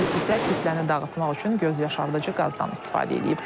Polis isə kütləni dağıtmaq üçün gözyaşardıcı qazdan istifadə eləyib.